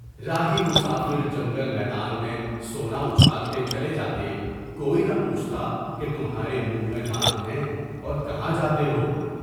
راہی مسافر جنگل میدان میں سونا اچھالتے چلے جاتے، کوئی نہ پوچھتا کہ تمہارے منہ میں دانت ہیں، اور کہاں جاتے ہو؟